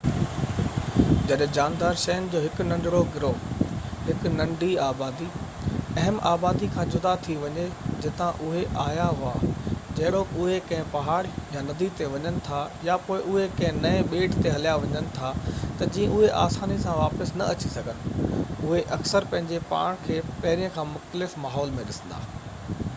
جڏهن جاندار شين جو هڪ ننڍڙو گروه هڪ ننڍي آبادي اهم آبادي کان جدا ٿي وڃي جتان اهي آيا هئا جهڙوڪ اهي ڪنهن پهاڙ يا ندي تي وڃن ٿا يا پوءِ اهي ڪنهن نئين ٻيٽ تي هليا وڃن ٿا تہ جيئن اهي آساني سان واپس نہ اچي سگهن اهي اڪثر پنهنجي پاڻ کي پهرين کان مختلف ماحول ۾ ڏسندا